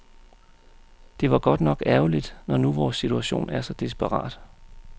Det var godt nok ærgerligt, når nu vores situation er så desperat.